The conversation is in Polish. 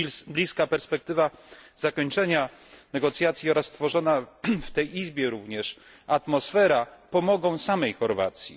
Bliska perspektywa zakończenia negocjacji oraz stworzona w tej Izbie atmosfera pomogą również samej Chorwacji.